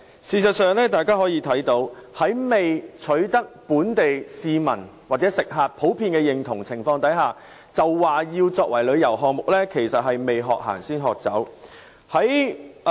事實上，政府在未取得本地市民或食客的普遍認同下，便說要把計劃作為旅遊項目，就是"未學行，先學走"。